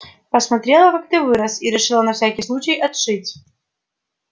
посмотрела как ты вырос и решила на всякий случай отшить